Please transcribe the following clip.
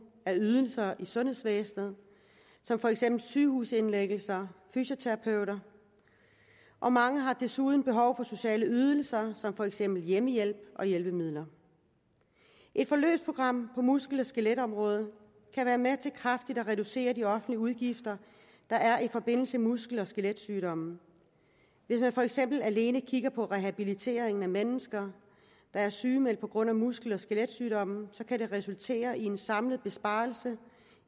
af ydelser i sundhedsvæsenet som for eksempel sygehusindlæggelser og fysioterapeuter og mange har desuden behov for sociale ydelser som for eksempel hjemmehjælp og hjælpemidler et forløbsprogram på muskel og skeletområdet kan være med til kraftigt at reducere de offentlige udgifter der er i forbindelse med muskel og skeletsygdomme hvis man for eksempel alene kigger på rehabiliteringen af mennesker der er sygemeldt på grund af muskel og skeletsygdomme kan det resultere i en samlet besparelse